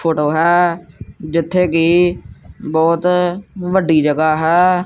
Photo ਹੈ ਜਿੱਥੇ ਕੀ ਬਹੁਤ ਵੱਡੀ ਜਗਾਹ ਹੈ।